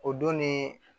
O don ni